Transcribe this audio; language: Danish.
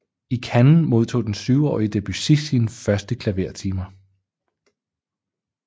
I Cannes modtog den syvårige Debussy sine første klavertimer